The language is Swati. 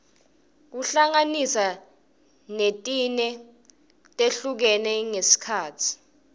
kuhlanganiswa netine letihlukene ngesikhatsi